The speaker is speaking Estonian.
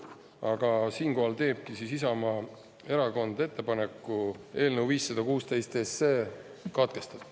Aga siinkohal teebki Isamaa Erakond ettepaneku eelnõu 516 katkestada.